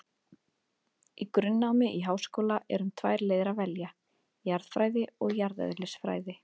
Í grunnnámi í háskóla er um tvær leiðir að velja, jarðfræði og jarðeðlisfræði.